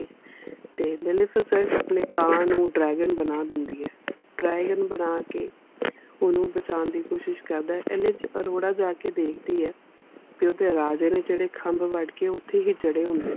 ਤੇ ਮੈਲਫੀਸੈਂਟ ਆਪਣੇ ਕਾਂ ਨੂੰ ਡਰੈਗਨ ਬਣਾ ਦਿੰਦੀ ਹੈ। ਡਰੈਗਨ ਬਣਾ ਕੇ ਓਹਨੂੰ ਬਚਾਣ ਦੀ ਕੋਸ਼ਿਸ ਕਰਦਾ ਹੈ ਏਨੇ ਚ ਅਰੋੜਾ ਜਾ ਕੇ ਦੇਖਦੀ ਹੈ ਵੀ ਓਹਦੇ ਰਾਜੇ ਨੇ ਜਿਹੜੇ ਖਮਭ ਵੱਢ ਕੇ ਉਥੇ ਹੀ ਜੜੇ ਹੁੰਦੇ ਹਨ।